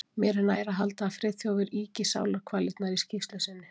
Mér er nær að halda að Friðþjófur ýki sálarkvalirnar í skýrslu sinni.